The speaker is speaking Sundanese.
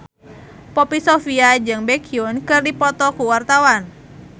Poppy Sovia jeung Baekhyun keur dipoto ku wartawan